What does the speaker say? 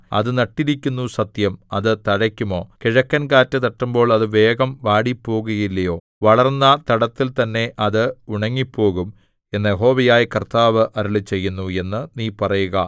അത് നട്ടിരിക്കുന്നു സത്യം അത് തഴയ്ക്കുമോ കിഴക്കൻകാറ്റു തട്ടുമ്പോൾ അത് വേഗം വാടിപ്പോകുകയില്ലയോ വളർന്ന തടത്തിൽ തന്നെ അത് ഉണങ്ങിപ്പോകും എന്ന് യഹോവയായ കർത്താവ് അരുളിച്ചെയ്യുന്നു എന്ന് നീ പറയുക